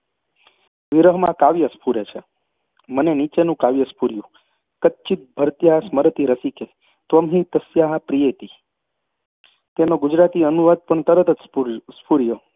વિરહમાં કાવ્ય સ્ફુરે છે મને નીચેનું કાવ્ય સ્ફુર્યું. कच्चिद् भर्त्र्या स्मरति रसिके! त्वं हि तस्या प्रियेति कच्चिद् भर्तृ स्मरति रसिक! त्वं हि तस्य प्रियेति તેનો ગુજરાતી અનુવાદ પણ તરત જ સ્ફુર્યો